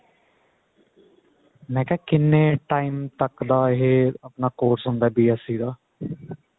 ਮੈਂ ਕਿਹਾ ਕਿੰਨੇ time ਤੱਕ ਦਾ ਆਪਣਾ ਇਹ course ਹੁੰਦਾ BSC ਦਾ